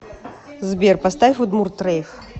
сбер поставь удмурт рейв